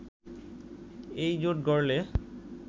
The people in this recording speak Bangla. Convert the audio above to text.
এইজোট গড়লে